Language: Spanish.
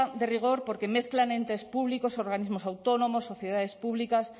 de rigor porque mezclan entes públicos organismos autónomos sociedades públicas